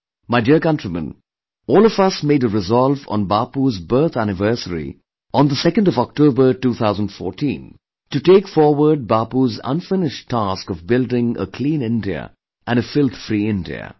My dear countrymen, all of us made a resolve on Bapu's birth anniversary on October 2, 2014 to take forward Bapu's unfinished task of building a 'Clean India' and 'a filth free India'